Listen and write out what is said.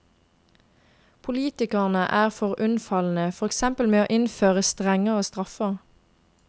Politikerne er for unnfallende, for eksempel med å innføre strengere straffer.